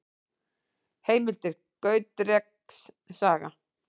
Heimildir: Gautreks saga.